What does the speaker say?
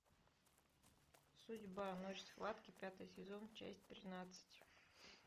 судьба ночь схватки пятый сезон часть тринадцать